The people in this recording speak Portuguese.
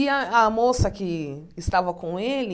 E a a moça que estava com ele,